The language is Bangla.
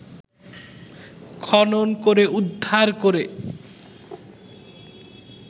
খনন করে উদ্ধার করে